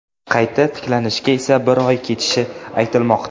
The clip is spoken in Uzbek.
Qayta tiklanishga esa bir oy ketishi aytilmoqda.